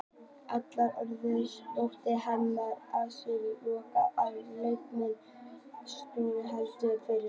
Halldór Orri þóttist henda handsprengju upp í loftið og leikmenn Stjörnunnar héldu fyrir eyrun.